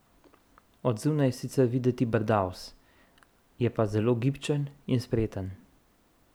Od zunaj je sicer videti brdavs, je pa zelo gibčen in spreten.